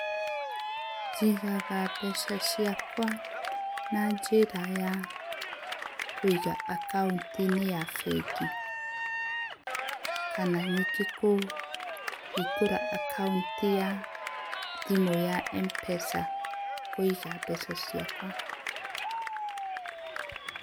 Njĩgaga mbeca ciakwa na njĩra ya, kũĩga akaũnti inĩ ya bengĩ kana nĩnge kũhĩngũra acccount ya thĩmũ ya Mpesa kũĩga mbeca ciakwa.